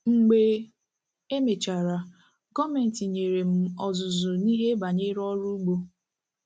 Mgbe e mechara, gọọmenti nyere m ọzụzụ n’ihe banyere ọrụ ugbo.